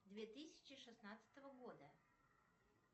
две тысячи шестнадцатого года